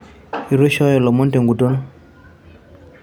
Ituishoyo lomon tenguton.